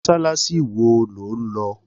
Mọ́sálásí wo lo ń lọ?